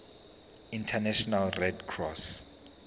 international red cross